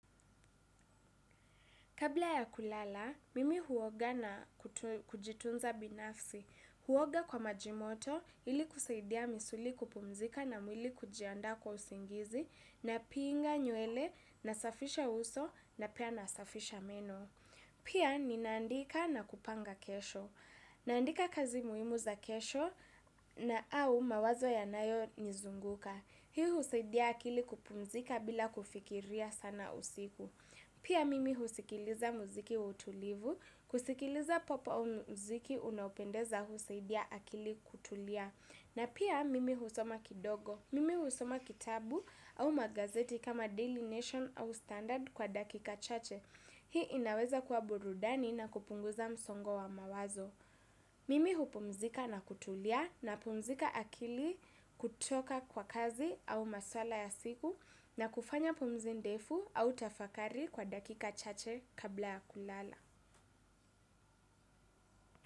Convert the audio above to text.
Kabla ya kulala, mimi huoga na kujitunza binafsi. Huoga kwa majimoto ili kusaidia misuli kupumzika na mwili kujianda kwa usingizi na pinga nywele na safisha uso na pia nasafisha meno. Pia ni naandika na kupanga kesho. Naandika kazi muhimu za kesho na au mawazo ya nayo nizunguka. Hii usaidia akili kupumzika bila kufikiria sana usiku. Pia mimi husikiliza muziki utulivu, kusikiliza popo au muziki unaupendeza husaidia akili kutulia. Na pia mimi husoma kidogo, mimi husoma kitabu au magazeti kama Daily Nation au Standard kwa dakika chache. Hii inaweza kua burudani na kupunguza msongo wa mawazo. Mimi hupumzika na kutulia na pumzika akili kutoka kwa kazi au maswala ya siku na kufanya pumuzi ndefu au tafakari kwa dakika chache kabla ya kulala.